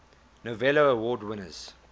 novello award winners